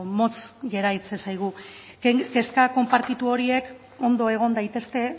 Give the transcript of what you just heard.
motz geratzen zaigu kezka konpartitu horiek ondo egon daitezke